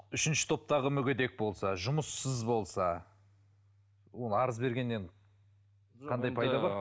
үшінші топтағы мүгедек болса жұмыссыз болса ол арыз бергеннен қандай пайда бар